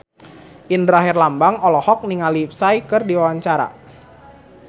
Indra Herlambang olohok ningali Psy keur diwawancara